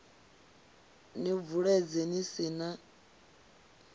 ni bvuledze ni si na